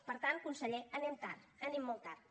per tant conseller anem tard anem molt tard